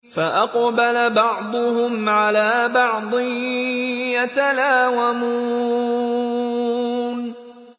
فَأَقْبَلَ بَعْضُهُمْ عَلَىٰ بَعْضٍ يَتَلَاوَمُونَ